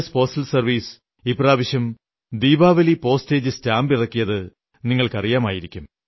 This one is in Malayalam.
പോസ്റ്റൽ സർവ്വീസ് ഇപ്രാവശ്യം ദീപാവലി പോസ്റ്റേജ് സ്റ്റാമ്പ് ഇറക്കിയതു നിങ്ങൾക്കറിയാമായിരിക്കും